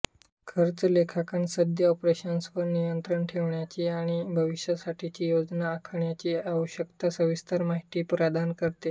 खर्च लेखांकन सद्य ऑपरेशन्सवर नियंत्रण ठेवण्याची आणि भविष्यासाठीची योजना आखण्याची आवश्यक सविस्तर माहिती प्रदान करते